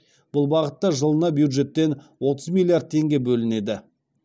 бұл бағытта жылына бюджеттен отыз миллиард теңге бөлінеді